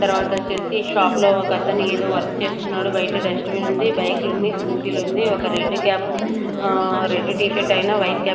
తర్వాతొచ్చేసి shop లో ఒకతను ఏదో వర్క్ చేస్తున్నాడు బయట డస్ట్ బిన్ ఉంది బైకుంది స్కూటీలుంది ఒక రెడ్ క్యాపు ఆ రెడ్డు టీ షర్ట్ ఆయన వైట్ క్యాప్ --